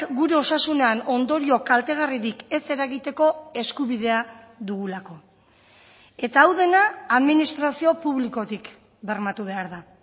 gure osasunean ondorio kaltegarririk ez eragiteko eskubidea dugulako eta hau dena administrazio publikotik bermatu behar da